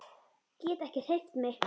Get ekki hreyft mig.